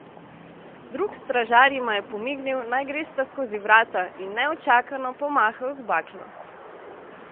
Drug stražar jima je pomignil, naj gresta skozi vrata, in neučakano pomahal z baklo.